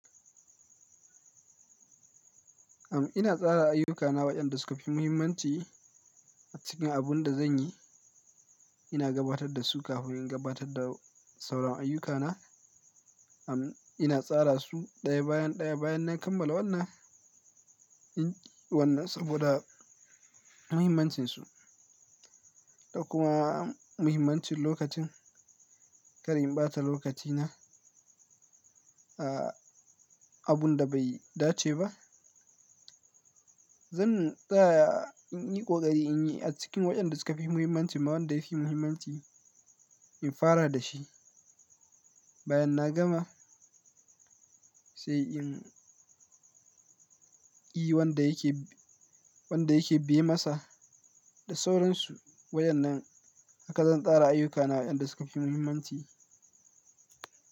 Am ina tsara ayyukana waɗanda suka fi muhimmanci a cikin abun da zan yi. Ina gabatar da su kafin in gabatar da sauran ayyukana. Am ina tsara su ɗaya bayan ɗaya bayan na kammala wannan, in ƙi wannan saboda muhimmancinsu. Da kuma muhimmancin lokacin, kar in ɓata lokacina a abun da bai dace ba. Zan tsaya in yi ƙoƙari in yi a cikin waɗanda suka fi muhimmanci ma wanda ya fi muhimmanci in fara da shi. Bayan na gama sai in yi wanda yake, wanda yake biye masa da sauransu. Wa yan nan haka zan tsara ayyukana waɗanda suka fi muhimmanci.